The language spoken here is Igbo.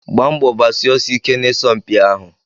Gbaa mbọ gbasie ọsọ ike na isọmpi ahụ!